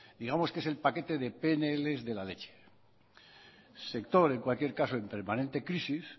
digamos que el paquete del pnl de la leche sector en cualquier caso en permanente crisis